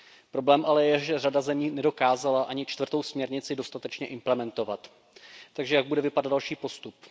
Problém ale je, že řada zemí nedokázala ani čtvrtou směrnici dostatečně implementovat. Takže jak bude vypadat další postup?